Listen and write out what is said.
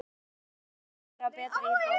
Ég var farin að leita mér að betri íbúð.